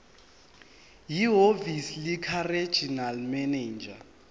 ehhovisi likaregional manager